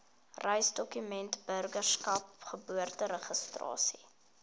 reisdokumente burgerskap geboorteregistrasie